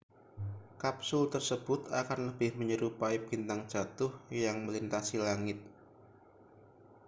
kapsul tersebut akan lebih menyerupai bintang jatuh yang melintasi langit